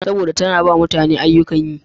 Saboda da tana ba mutane ayyukan yi.